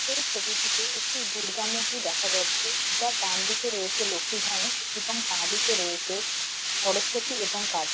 এই ছবিটিতে একটি দূর্গা মূর্তি দেখা যাচ্ছে যার ডান দিকে রয়েছে লক্ষী গণেশ এবং বা দিকে রয়েছে সরস্বতী এবং কার্তিক।